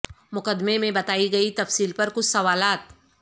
مقدمے میں بتائی گئی تفصیل پر کچھ سوالات